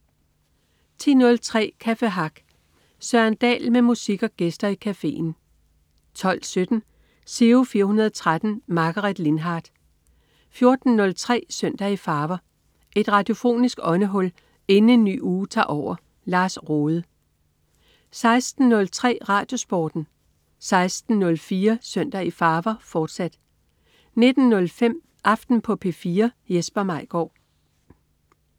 10.03 Café Hack. Søren Dahl med musik og gæster i cafeen 12.17 Giro 413. Margaret Lindhardt 14.03 Søndag i farver. Et radiofonisk åndehul inden en ny uge tager over. Lars Rohde 16.03 RadioSporten 16.04 Søndag i farver, fortsat 19.05 Aften på P4. Jesper Maigaard